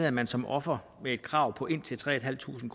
at man som offer med et krav på indtil tre tusind